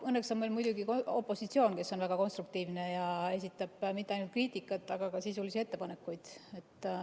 Õnneks on meil muidugi opositsioon, kes on väga konstruktiivne ja esitab mitte ainult kriitikat, vaid ka sisulisi ettepanekuid.